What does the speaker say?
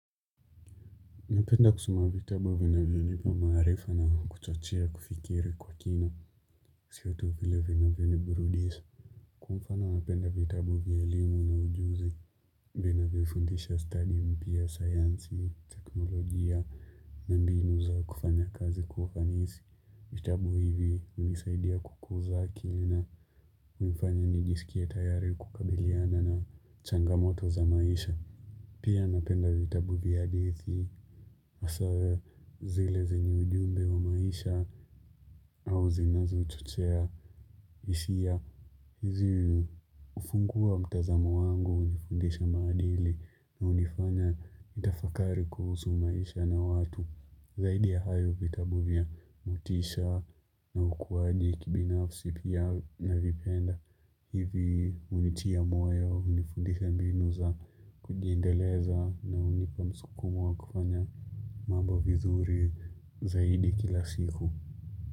Napenda kusuma vitabu vinavyo nipa maarifa na kuchachia kufikiri kwa kina sio tu vile vinavyo ni burudisa. Kwa mfana napenda vitabu vya elimu na ujuzi vina vya fundisha study mpya science ni teknolojia na mbinu za kufanya kazi kufanisi. Vitabu hivi hunisaidia kukuza akili na kunifanya nijisikie tayari kukabiliana na changamoto za maisha. Pia napenda vitabu vya hadithi. Hasawe zile zeni ujumbe wa maisha au zinazo chochea hisia hizi hufungu wa mtazamo wangu hunifundisha madili na hunifanya nitafakari kuhusu maisha na watu Zaidi ya hayo vitabu vya mutisha na ukuwaji kibinafsi pia na vipenda hivi unitia moyo hunifundisha mbinu za kujiendeleza na hunipa msukumu wa kufanya mambo vizuri zaidi kila siku.